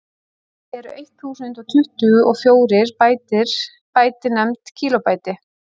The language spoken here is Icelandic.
því eru eitt þúsund og tuttugu og fjórir bæti nefnd kílóbæti